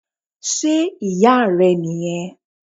Sé Ìyá rẹ̀ nì yan